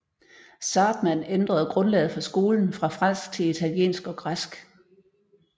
Zahrtmann ændrede grundlaget for skolen fra fransk til italiensk og græsk